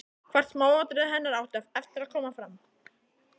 Hvert smáatriði hennar átti eftir að koma fram.